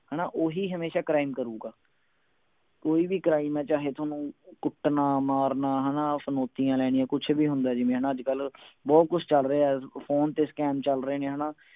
ਹਣਾ ਓਹੀ ਹਮੇਸ਼ਾ crime ਕਰੂਗਾ ਕੋਈ ਵੀ crime ਹੈ ਚਾਹੇ ਥੋਨੂੰ ਕੁੱਟਣਾ ਮਾਰਨਾ ਹਣਾ ਫਿਰੌਤੀਆਂ ਲੈਣੀਆਂ ਕੁਛ ਵੀ ਹੁੰਦੇ ਜਿਵੇਂ ਅੱਜਕਲ ਬਹੁਤ ਕੁਛ ਚਲ ਰਿਹੇ ਫੋਨ ਤੇ scam ਚੱਲ ਰਹੇ ਨੇ ਹਣਾ